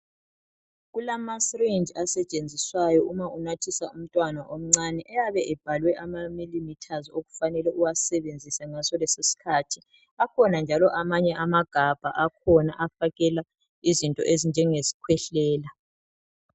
Kulama syringe asetshenziswayo uma unathisa umntwana omncane ayabe ebhalwe ama milliliters okufanele uwasebenzise ngaso leso sikhathi akhona njalo amanye amagabha akhona afakela izinto ezinjenge skhwehlela .